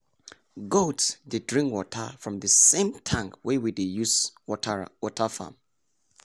goat dey drink water from the same tank wey we dey use water farm.